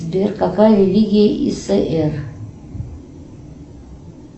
сбер какая религия иср